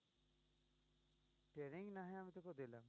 training না হয় আমি তকে দেলাম